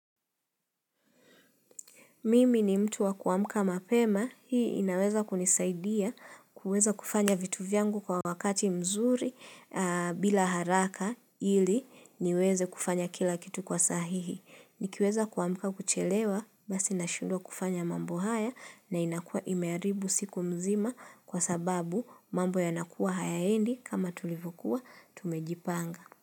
Mimi ni mtu wa kuamka mapema hii inaweza kunisaidia kuweza kufanya vitu vyangu kwa wakati mzuri bila haraka ili niweze kufanya kila kitu kwa sahihi. Nikiweza kuamka kuchelewa basi nashindwa kufanya mambo haya na inakua imeharibu siku mzima kwa sababu mambo yanakuwa hayaendi kama tulivokuwa tumejipanga.